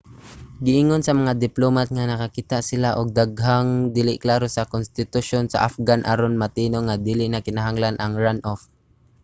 giingon sa mga diplomat nga nakakita sila og daghang dili klaro sa konstitusyon sa afghan aron matino nga dili na kinahanglan ang runoff